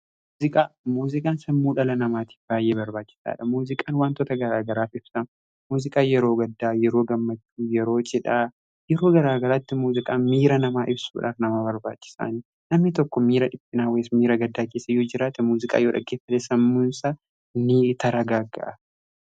muziqaan sammuu dhala namaatiif baay'ee barbaachisaadha muziqaan wantoota garaa garaaf ibsa muuziqaa yeroo gaddaa yeroo gammachuu yeroo jidhaa yeroo garaagaraatti muuziqaan miira namaa ibsuudhaan namaa barbaachisaan namni tokko miira dhiphuu miira gaddaa kessa yoo jiraate muuziqaa yoo dhaggeeffate sammuusa ni tasgabbaa'a.